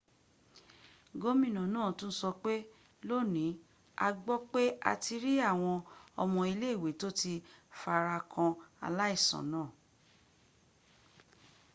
gómìnà náà tún sọpé lónìí a gbọ́ pé a ti rí àwọn ọmọ ilé ìwé tó ti farakan aláìsàn náà